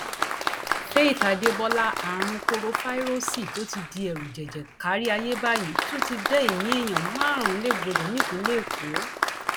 faith adébọlá àrùn korofairósí tó ti di ẹrùjẹjẹ kárí ayé báyìí ti tún dá ẹmí èèyàn márùnún légbodò nípìnlẹ èkó